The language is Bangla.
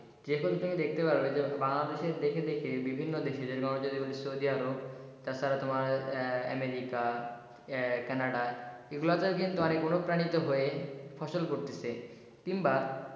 Check করলে তুমি দেখতে পাবে যে বাংলাদেশের দেখে দেখে বিভিন্ন দেশে যেরকম হচ্ছে তোমার সৌদি আরব তাছাড়া তোমার আমেরিকা কানাডা এগুলা তে কিন্তু ফসল করতিছে কিংবা,